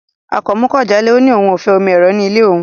Akànmú kò jálẹ̀, ọ ni ọ̀un ó fẹ́ omi èró̀ ní ilẹ̀ ọ̀un.